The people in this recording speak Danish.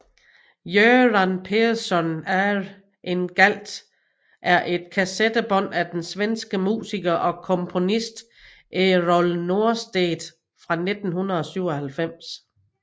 Göran Persson Är En Galt er et kassettebånd af den svenske musiker og komponist Errol Norstedt fra 1997